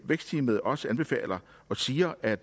vækstteamet også anbefaler og siger at